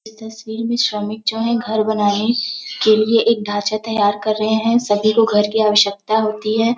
यह तस्वीर में श्रमिक जो है घर बनाने के लिए एक ढांचा तैयार कर रहे हैं सभी को घर की आवश्यकता होती है।